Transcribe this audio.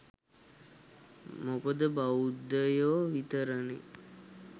මොකද බෞද්ධයො විතරනේ